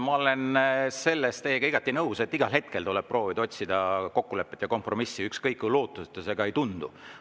Ma olen selles teiega igati nõus, et igal hetkel tuleb proovida otsida kokkulepet ja kompromissi, ükskõik kui lootusetu see ka ei tundu.